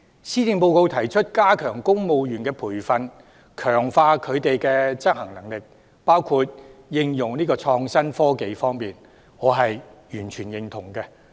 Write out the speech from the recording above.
施政報告提出加強公務員的培訓，強化他們在應用創新科技等方面的執行能力，我完全認同。